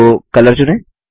तो कलर चुनें